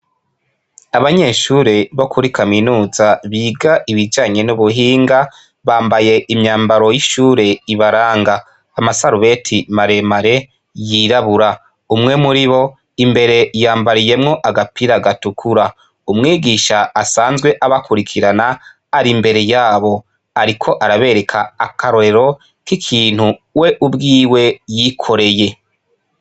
Abanyeshure bo kuri kaminuza biga ibijanye nubuhinga bambaye imyambaro yishure ibaranga amasarubeti maremare yirabura umwe muribo imbere yambariyemwo agapira gatukura umwigisha asanzwe abakurikirana arimbere yabo ariko arabereka akarorero kintu we ubwiwe yikoreye